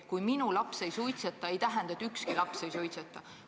Kui minu laps ei suitseta, siis see ei tähenda, et ükski laps ei suitseta.